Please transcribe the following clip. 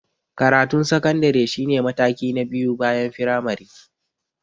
Karatun sakandare shi ne mataki na biyu bayan firamare.